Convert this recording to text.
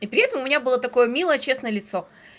и при этом у меня было такое милое честное лицо